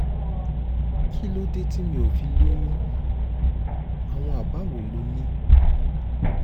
kí ló dé tí mi ò fi lóyún? àwọn àbá wo lo ní?